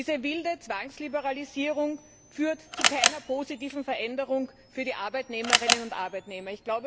Diese wilde Zwangsliberalisierung führt zu keiner positiven Veränderung für die Arbeitnehmerinnen und Arbeitnehmer.